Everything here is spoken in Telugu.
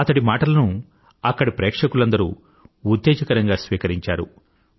అతడి మాటలను అక్కడి ప్రేక్షకులందరూ ఉత్తేజకరంగా స్వీకరించారు